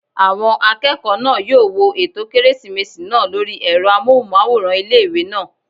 Àwọn akẹ́kọ̀ọ́ náà yóò wo ètò kérésìmesì náà lórí ẹ̀rọ amóhùnmáwòrán ilé-ìwé náà